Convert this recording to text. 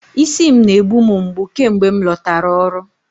Isi m na-egbu m mgbu kemgbe m lọtara ọrụ